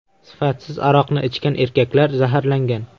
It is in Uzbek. Sifatsiz aroqni ichgan erkaklar zaharlangan.